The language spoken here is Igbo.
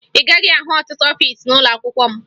Ị gaghị ahụ ọtụtụ ọfiisi n'ụlọakwụkwọ m